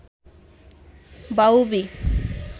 বাউবি